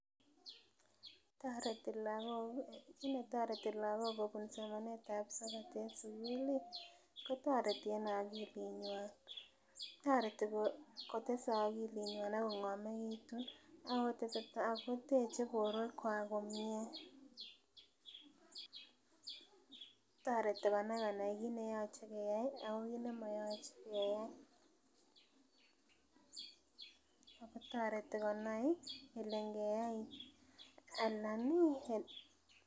Kinetoreti lakok kobun somanetab sokat en sugulih , kotoreti kotoreti en agilitnyuan , toreti kotes agilit nyaun Ako ng'amekitun , akotesetai koteche boruekuak komie. toreti konai kine yoche keyai ak kit nemoyoche keyai en akotoreti kole ngeyai anan ih.